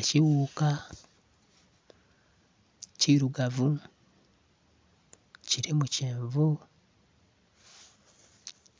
Ekyighuka kirugavu, kirimu kyenvu